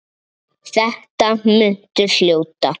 Þetta muntu hljóta.